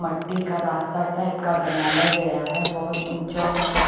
मिट्टी का रास्ता टाइप का बनाया गया है बहुत ऊंचा ऊंचा--